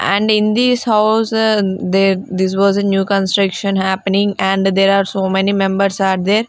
and in this house this was a new construction happening and there are so many members are there.